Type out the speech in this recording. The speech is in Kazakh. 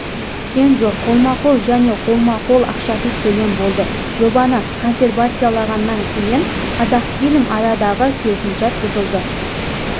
түскен жоқ қолма-қол және қолма-қол ақшасыз төлем болды жобаны консервациялағаннан кейін қазақфильм арадағы келісім-шарт бұзылды